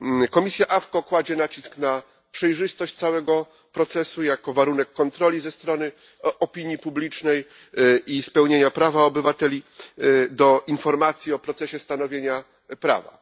Komisja AFCO kładzie nacisk na przejrzystość całego procesu jako warunek kontroli ze strony opinii publicznej i zapewnienia prawa obywateli do informacji o procesie stanowienia prawa.